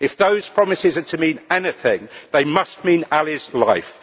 If those promises are to mean anything they must mean Ali's life.